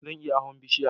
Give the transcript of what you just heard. Zan iya hawan bishiya